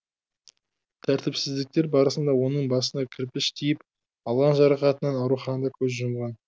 тәртіпсіздіктер барысында оның басына кірпіш тиіп алған жарақатынан ауруханада көз жұмған